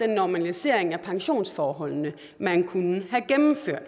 normalisering af pensionsforholdene man kunne have gennemført